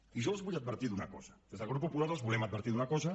i jo els vull advertir d’una cosa des del grup popular els volem advertir d’una cosa